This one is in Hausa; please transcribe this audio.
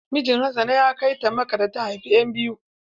Mijin hassana ya kai ta makka da ta haifa ƴan biyu.